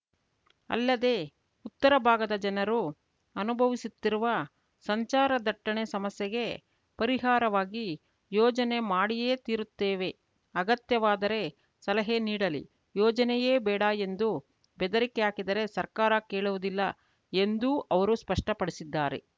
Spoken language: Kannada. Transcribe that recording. ಅಲ್ಲದೆ ಉತ್ತರ ಭಾಗದ ಜನರು ಅನುಭವಿಸುತ್ತಿರುವ ಸಂಚಾರ ದಟ್ಟಣೆ ಸಮಸ್ಯೆಗೆ ಪರಿಹಾರವಾಗಿ ಯೋಜನೆ ಮಾಡಿಯೇ ತೀರುತ್ತೇವೆ ಅಗತ್ಯವಾದರೆ ಸಲಹೆ ನೀಡಲಿ ಯೋಜನೆಯೇ ಬೇಡ ಎಂದು ಬೆದರಿಕೆ ಹಾಕಿದರೆ ಸರ್ಕಾರ ಕೇಳುವುದಿಲ್ಲ ಎಂದೂ ಅವರು ಸ್ಪಷ್ಟಪಡಿಸಿದ್ದಾರೆ